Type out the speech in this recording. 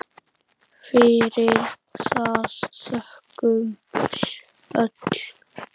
Fyrir það þökkum við öll.